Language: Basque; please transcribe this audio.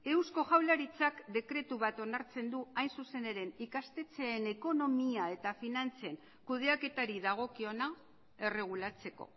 eusko jaurlaritzak dekretu bat onartzen du hain zuzen ere ikastetxeen ekonomia eta finantzen kudeaketari dagokiona erregulatzeko